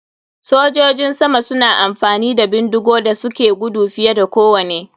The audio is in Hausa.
Sojojin sama suna amfani da bindigu da suke gudu fiye da kowane.